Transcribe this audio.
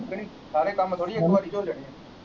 ਸਾਰੇ ਕੰਮ .